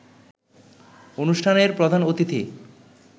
অনুষ্ঠানের প্রধান অতিথি